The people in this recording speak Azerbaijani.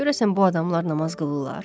Görəsən bu adamlar namaz qılırlar?